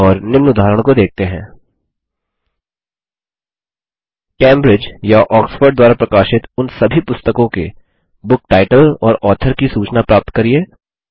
और निम्न उदाहरण को देखते हैं कैम्ब्रिज या आक्सफोर्ड द्वारा प्रकाशित उन सभी पुस्तकों के बुक टाइटल और ऑथर की सूचना प्राप्त करिये